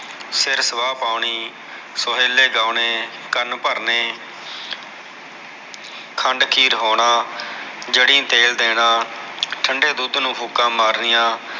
ਸਿਰ ਸੁਆਹ ਪਾਉਣੀ ਸੋਹਿਲੇ ਗਾਉਣੇ ਕਨ ਭਰਨੇ ਖੰਡ ਖੀਰ ਹੋਣਾ ਜੜੀ ਤੇਲ ਦੇਣਾ ਠੰਡੇ ਦੁਧ ਨੂ ਫੂਕਾ ਮਾਰਨੀਆ